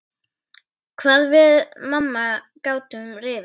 Hvað við mamma gátum rifist.